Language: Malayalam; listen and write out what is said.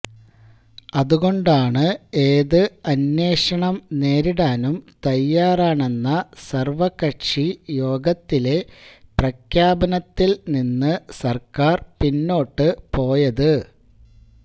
അതുകൊണ്ടാണ് ഏത് അന്വേഷണം നേരിടാനും തയ്യാറാണെന്ന സര്വ്വകക്ഷി യോഗത്തിലെ പ്രഖ്യാപനത്തില് നിന്ന് സര്ക്കാര് പിന്നോട്ട് പോയത്